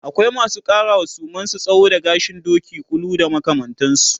akwai masu ƙarawa suman su tsawo da gashin Doki, ƙulu da makamantansu